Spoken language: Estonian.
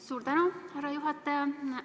Suur tänu, härra juhataja!